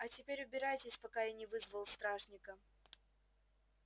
а теперь убирайтесь пока я не вызвал стражника